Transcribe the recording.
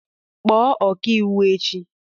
Kpọọ ọkà iwu echi!